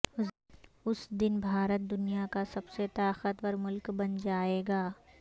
اس دن بھارت دنیا کا سب سے طاقتور ملک بن جائے گا